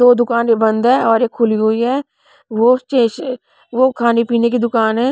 दो दुकान बंद है और एक खुली हुई है वो स्टेश वो खाने पीने की दुकान है.